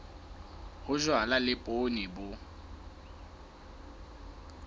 ho jalwa le poone bo